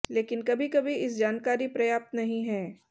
लेकिन कभी कभी इस जानकारी पर्याप्त नहीं है